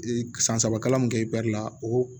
san saba kalan mun kɛ la o